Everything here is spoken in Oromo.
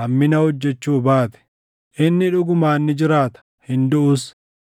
hammina hojjechuu baate, inni dhugumaan ni jiraata; hin duʼus.